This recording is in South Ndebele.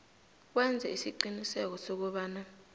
wenze isiqiniseko sokobana